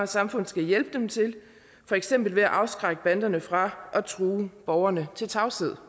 samfund skal hjælpe dem til for eksempel ved at afskrække banderne fra at true borgerne til tavshed